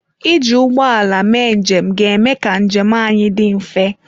Iji ụgbọ ala mee njem ga-eme ka njem anyị dị mfe.